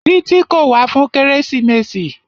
Títí kò wá fún kérésìmesì.